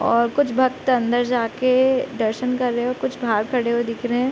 और कुछ भक्त अंदर जाके दर्शन कर रहे हैं और कुछ बाहर खड़े हुए दिख रहे हैं।